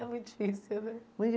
É muito difícil, né?